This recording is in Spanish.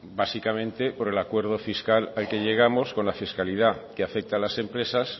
básicamente por el acuerdo fiscal al que llegamos con la fiscalidad que afecta a las empresas